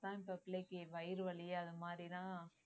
தான் இப்ப பிள்ளைக்கு வயிறு வலி அந்த மாதிரிதான்